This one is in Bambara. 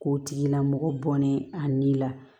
K'o tigilamɔgɔ bɔnɛ a ni la